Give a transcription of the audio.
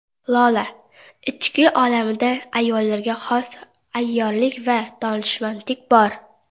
Lola: Ichki olamimda ayollarga xos ayyorlik va donishmandlik bor.